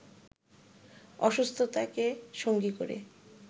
অসুস্থতাকে সঙ্গী করে